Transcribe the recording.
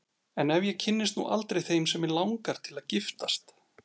En ef ég kynnist nú aldrei þeim sem mig langar til að giftast?